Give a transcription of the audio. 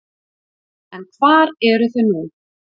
En hvar eru þau nú?